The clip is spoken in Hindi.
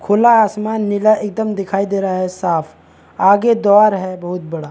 खुला आसमान एकदम नीला दिखाई दे रहा है साफ़ आगे दवार है बहुत बड़ा --